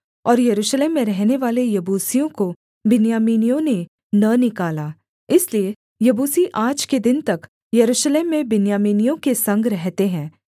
और यरूशलेम में रहनेवाले यबूसियों को बिन्यामीनियों ने न निकाला इसलिए यबूसी आज के दिन तक यरूशलेम में बिन्यामीनियों के संग रहते हैं